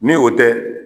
Ni o tɛ